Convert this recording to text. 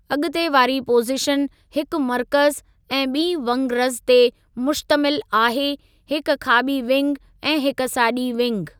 अॻिते वारी पोज़ीशन हिकु मर्कज़ु ऐं ॿीं वंगरज़ ते मुश्तमिल आहे हिक खाॿी विंग ऐं हिक साॼी विंग।